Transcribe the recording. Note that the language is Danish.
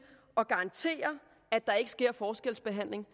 at garantere at der ikke sker forskelsbehandling